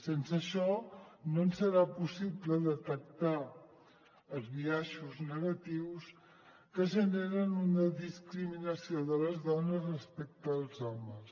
sense això no ens serà possible detectar els biaixos negatius que generen una discriminació de les dones respecte als homes